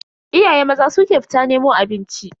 Iyaye maza su ke fita nemo abinci.